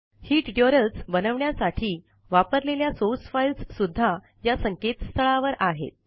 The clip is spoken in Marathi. ही ट्युटोरियल्स बनवण्यासाठी वापरलेल्या सोर्स फाइल्स सुद्धा या संकेतस्थळावर आहेत